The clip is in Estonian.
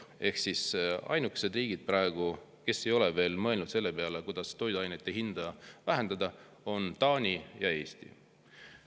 Ehk ainukesed riigid, kes ei ole veel mõelnud selle peale, kuidas toiduainete hinda vähendada, on Taani ja Eesti.